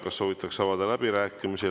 Kas soovitakse avada läbirääkimisi?